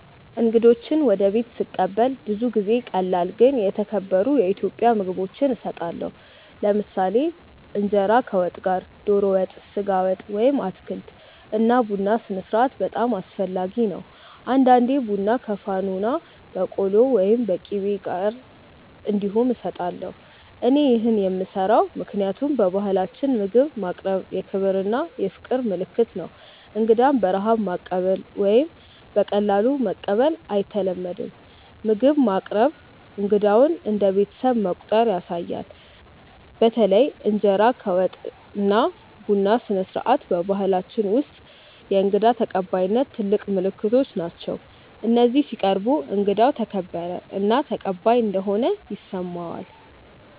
እንግዶችን ወደ ቤት ስቀበል ብዙ ጊዜ ቀላል ግን የተከበሩ የኢትዮጵያ ምግቦች እሰጣለሁ። ለምሳሌ እንጀራ ከወጥ ጋር (ዶሮ ወጥ፣ ስጋ ወጥ ወይም አትክልት) እና ቡና ስነስርዓት በጣም አስፈላጊ ነው። አንዳንዴ ቡና ከፋኖና በቆሎ ወይም ቂቤ ጋር እንዲሁም እሰጣለሁ። እኔ ይህን የምሰራው ምክንያቱም በባህላችን ምግብ ማቅረብ የክብር እና የፍቅር ምልክት ነው። እንግዳን በረሃብ ማቀበል ወይም በቀላሉ መቀበል አይተለመድም፤ ምግብ ማቅረብ እንግዳውን እንደ ቤተሰብ መቆጠር ያሳያል። በተለይ እንጀራ ከወጥ እና ቡና ስነስርዓት በባህላችን ውስጥ የእንግዳ ተቀባይነት ትልቅ ምልክቶች ናቸው፤ እነዚህ ሲቀርቡ እንግዳው ተከበረ እና ተቀባይ እንደሆነ ይሰማዋል።